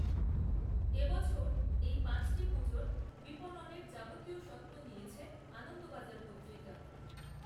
এ বছর, এই পাঁচটি পুজোর বিপণনের যাবতীয় স্বত্ব নিয়েছে, আনন্দবাজার পত্রিকা